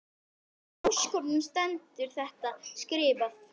Hvar í ósköpunum stendur þetta skrifað?